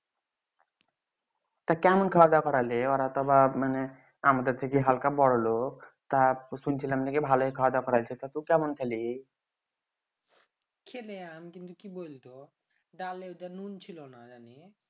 তা কেমন খাওয়া দেয়া করালি এইবার হতো আমাদের থেকে হালকা বড়ো লোক তা শুইনছিলাম যে ভালই খাওয়া দেয়া করাইছে ত তুই কেমন খেলি খেইলাম আর কিন্তু কি বৈলতো দালে ঐতো নুন ছিলনা জানি